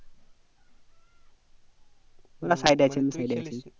না side এ আছি